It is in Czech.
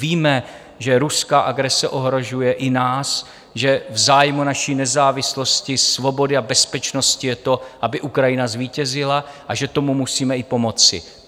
Víme, že ruská agrese ohrožuje i nás, že v zájmu naší nezávislosti, svobody a bezpečnosti je to, aby Ukrajina zvítězila, a že tomu musíme i pomoci.